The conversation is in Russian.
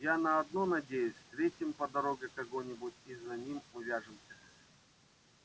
я на одно надеюсь встретим по дороге кого-нибудь и за ним увяжемся